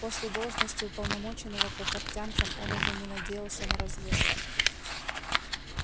после должности уполномоченного по портянкам он уже не надеялся на разведку